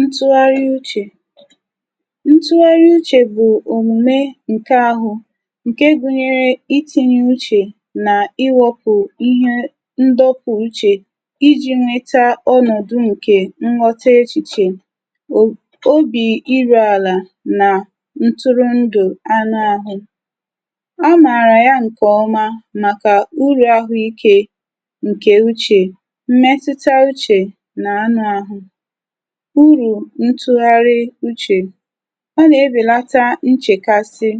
Ntụgharị uchè, ntụgharị uchè bụ̀ òmùme ǹke ahụ ǹke gụnyere itinye uchè nà iwepụ̀ ihe ndọpụ uchè iji̇ nweta ọnọ̀dụ ǹkè nwọta echìchè o obì iru àlà nà ntụrụndụ̀ anụ ahụ, a mààrà ya ǹkè ọma màkà ụrú ahụ ike ǹkè uchè mmetuta uchè na anụ ahụ, urù ntụgharị uchè ọ nà-ebèlata nchèkasị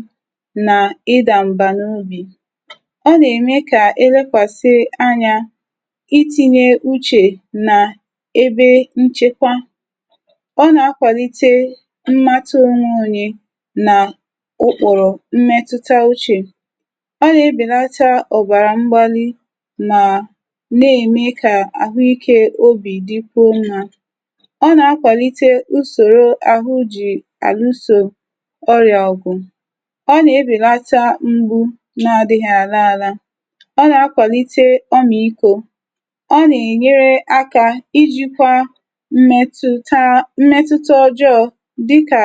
nà ịdà m̀bà n’obì, ọ nà-ème kà elekwàsị anya itinye uchè nà ebe nchekwa ọ na-akwàlite mmatụ onwee onye nà ụkpụ̀rụ̀ mmètụta uchè, ọ nà-ebèlata ọ̀bàrà mgbalị mà na-ème kà àhụ ikė obì dịkwuo mmà, ọ nà-akwàlite usòro àhụ jì àlu sò ọrị̀à ọ̀gụ̀, ọ nà-ebèlata mgbu n’adịghị̀ àla àla, ọ nà-akwàlite ọmị̀ikwȯ, ọ nà-ènyere akȧ ijikwȧ mmetụ̀ taa mmetụta ọjọọ dịkà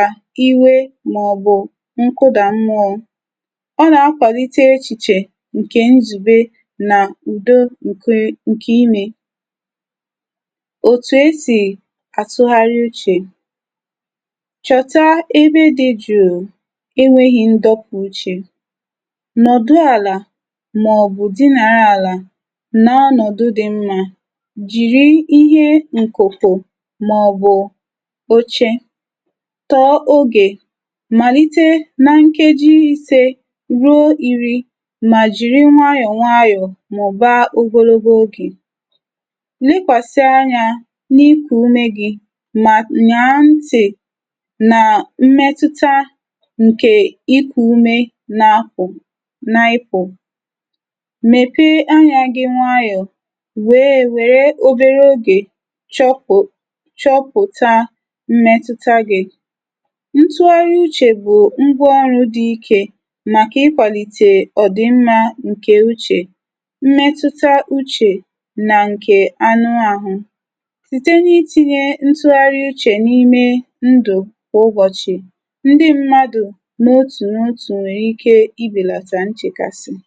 iwe mà ọ̀ bụ̀ nkụdà mmụọ, ọ nà-akwàlite echìchè ǹkè nzùbe nà ùdo ǹke ǹkè imė. Ótu esi atuhari uche, chọ̀ta ebe dị̇ jùù e nwėghi̇ ndọpụ̇ uchè, nọ̀dụ àlà mà ò bu di nàre àlà na-anọ̀dụ dị mmȧ, jìri ihe ǹkụ̀kụ̀ mà ọ̀ bụ̀ ochė tọọ ogè, màlite na nkeji isė ruo iri̇ mà jìri nwayọ̀ nwayọ̀ màụ̀ba ogologo ogè, lekwasi anya na iku ume gi ma nyaa nti nà mmetuta ǹkè ikù ume napu nipu, mepee anyȧ gị nwayọ̀ wèe wère obere ogè chọpụ̀ chọpụ̀ta mmetuta gị̇. Ntụgharị uchè bụ̀ ngwa ọrụ̇ dị ikė màkà ikwàlìtè ọ̀dị́mmȧ ǹkè uchè mmetuta uchè nà ǹkè anụ àhụ site na itinye ntuhari uche na ime ndu kwa ụbọ̀chị̀, ndị mmadụ̀ n’otù n’otù nwèrè ike ịbèlàtà nchèkàsị̀.